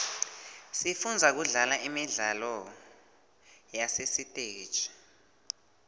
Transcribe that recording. sifunza kudlala imidlalo yasesiteji